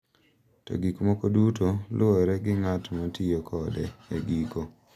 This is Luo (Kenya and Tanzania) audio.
To gik moko duto luwore gi ng’at ma tiyo kode e giko.